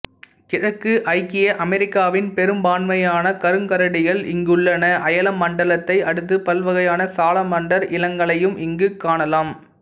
கிழக்கு ஐக்கிய அமெரிக்காவின் பெரும்பான்மையான கருங்கரடிகள் இங்குள்ளன அயனமண்டலத்தை அடுத்து பல்வகையான சாலமாண்டர் இனங்களையும் இங்கு காணலாம்